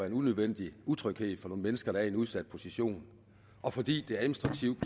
en unødvendig utryghed for nogle mennesker der er i en udsat position og fordi det administrativt